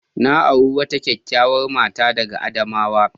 Na auro wata kyakkyawar mata daga Adamawa.